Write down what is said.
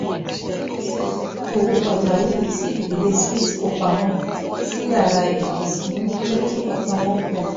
owó pàjáwìrì tí ìdílé smith kó pamọ́ sí yàrá ìkósínú jẹ́ kí ọkàn wọn balẹ̀